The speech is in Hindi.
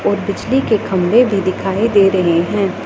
और बिजली के खंभे भी दिखाई दे रहे हैं।